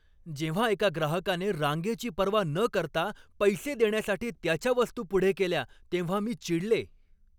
जेव्हा एका ग्राहकाने रांगेची पर्वा न करता पैसे देण्यासाठी त्याच्या वस्तू पुढे केल्या तेव्हा मी चिडले.